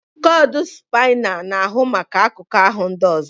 Spinal cord controls other parts of the body